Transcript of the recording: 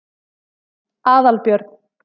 Aðalbjörn